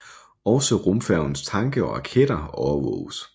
Også rumfærgens tanke og raketter overvåges